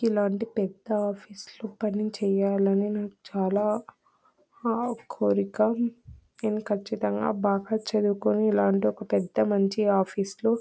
ఇల్లాంటి పెద్ద ఆఫీస్ లో పని చేయాలనీ నాకు చాలా ఆ కోరిక. నేను కచ్చితంగా బాగా చదువుకొని ఇల్లాంటి ఒక పెద్ద మంచి ఆఫీస్ లో --